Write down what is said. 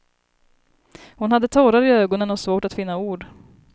Hon hade tårar i ögonen och svårt att finna ord.